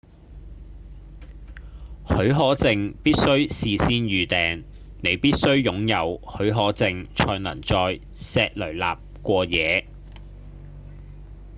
許可證必須事先預訂你必須擁有許可證才能在錫雷納過夜